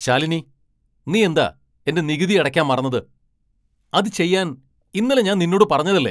ശാലിനി നീ എന്താ എന്റെ നികുതി അടയ്ക്കാൻ മറന്നത്? അത് ചെയ്യാൻ ഇന്നലെ ഞാൻ നിന്നോട് പറഞ്ഞതല്ലേ ?